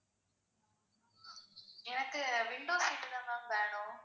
எனக்கு window seat தான் ma'am வேணும்.